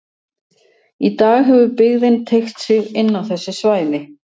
Í dag hefur byggðin teygt sig inn á þessi svæði.